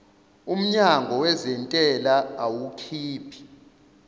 umnyango wezentela awukhiphi